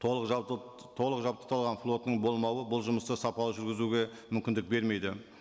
толық жалпы толық жабдықталған флотының болмауы бұл жұмысты сапалы жүргізуге мүмкіндік бермейді